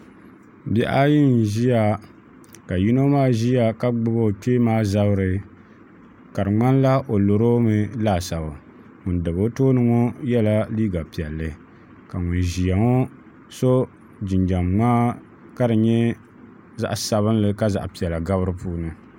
Bihi ayi n ʒiya ka yino maa ʒiya ka gbubi o kpee maa zabiri ka di ŋmanila o loromi laasabu ŋun dabi o tooni ŋo yɛla liiga piɛlli ka ŋun ʒiya ŋo so jinjɛm ŋmaa ka di nyɛ zaɣ sabinli ka zaɣ piɛla gabi di puuni